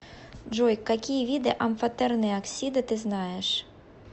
джой какие виды амфотерные оксиды ты знаешь